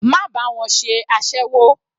Má bá wọn ṣe aséwó.